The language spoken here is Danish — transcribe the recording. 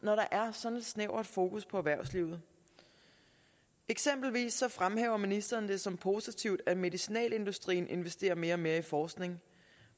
sådan et snævert fokus på erhvervslivet eksempelvis fremhæver ministeren det som positivt at medicinalindustrien investerer mere og mere i forskning